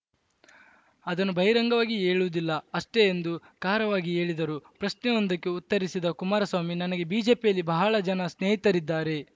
ಅದನ್ನು ಬಹಿರಂಗವಾಗಿ ಹೇಳುವುದಿಲ್ಲ ಅಷ್ಟೆಎಂದು ಖಾರವಾಗಿ ಹೇಳಿದರು ಪ್ರಶ್ನೆಯೊಂದಕ್ಕೆ ಉತ್ತರಿಸಿದ ಕುಮಾರಸ್ವಾಮಿ ನನಗೆ ಬಿಜೆಪಿಯಲ್ಲಿ ಬಹಳ ಜನ ಸ್ನೇಹಿತರಿದ್ದಾರೆ